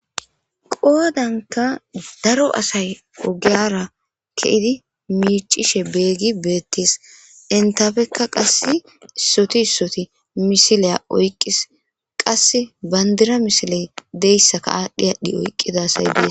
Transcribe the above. Qodanika daro asay ogeya duna ke'idi micishe dizayis betes intape qasi issoti issoti misile oyikis qasi banidira misile de'esaka oyikidosona